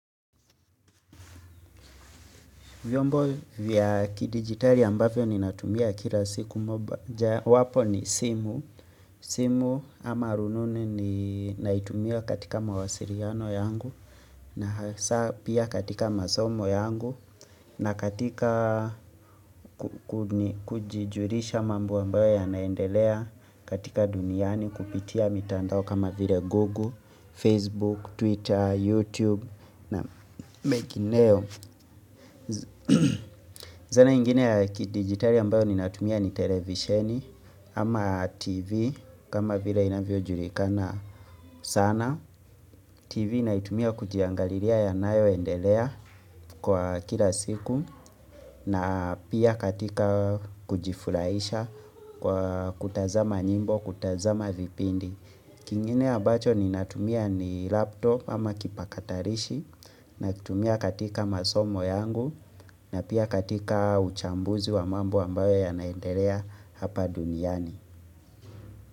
Vyombo vya kidigitali ambavyo ninatumia kila siku moja. Wapo ni simu. Simu ama rununu ni naitumia katika mawasiliano yangu. Na hasa pia katika masomo yangu. Na katika kujijulisha mambo ambayo yanaendelea katika duniani kupitia mitandao kama vile Google, Facebook, Twitter, YouTube. Na making nail. Zana ingine ya kidigitali ambayo ni natumia ni televisheni ama tv kama vile inavyojulikana sana TV naitumia kujiangalilia yanayoendelea kwa kila siku na pia katika kujifurahisha kwa kutazama nyimbo, kutazama vipindi kingine ya ambacho ni natumia ni laptop ama kipatakalishi nakitumia katika masomo yangu na pia katika uchambuzi wa mambo ambayo yanaendelea hapa duniani.